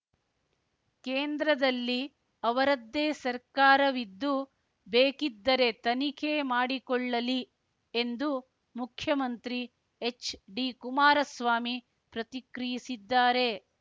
ಕೇಂದ್ರದಲ್ಲಿ ಅವರದ್ದೇ ಸರ್ಕಾರವಿದ್ದು ಬೇಕಿದ್ದರೆ ತನಿಖೆ ಮಾಡಿಕೊಳ್ಳಲಿ ಎಂದು ಮುಖ್ಯಮಂತ್ರಿ ಎಚ್‌ಡಿಕುಮಾರಸ್ವಾಮಿ ಪ್ರತಿಕ್ರಿಯಿಸಿದ್ದಾರೆ